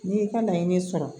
N'i y'i ka laɲini sɔrɔ